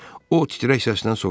O titrək səslə soruşdu: